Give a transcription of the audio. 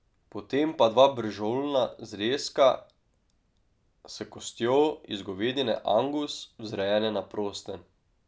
Potem pa dva bržolna zrezka s kostjo iz govedine angus, vzrejene na prostem.